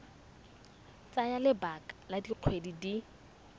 tsaya lebaka la dikgwedi di